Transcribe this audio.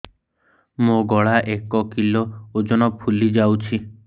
ମୋ ଗଳା ଏକ କିଲୋ ଓଜନ ଫୁଲି ଯାଉଛି